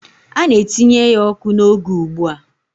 A na-etinye ya ọkụ n'oge ugbu a.